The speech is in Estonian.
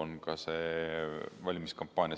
on see valimiskampaania.